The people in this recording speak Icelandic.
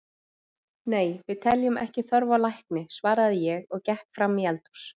Nei, við teljum ekki þörf á lækni, svaraði ég og gekk fram í eldhús.